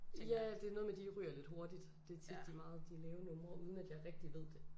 Ja det noget med de ryger lidt hurtigt. Det tit de meget de lave numre uden at jeg rigtig ved det